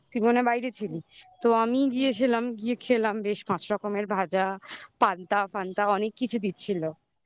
তুই তখন বাইরে ছিলি তো আমি গিয়েছিলাম গিয়ে খেলাম বেশ পাঁচ রকমের ভাজা পান্তা অনেক কিছু দিচ্ছিল